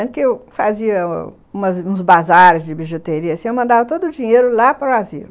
Tanto que eu fazia uns bazares de bijuteria, eu mandava todo o dinheiro lá para o asilo.